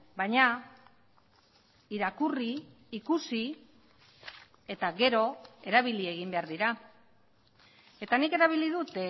baina irakurri ikusi eta gero erabili egin behar dira eta nik erabili dut